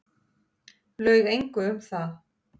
Laug engu um það.